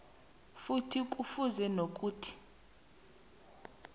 futhi kufuze nokuthi